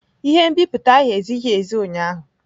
Ihe nbipute ahụ ezighi ezi ụnyaahụ.